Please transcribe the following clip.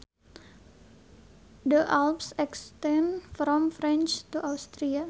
The Alps extend from France to Austria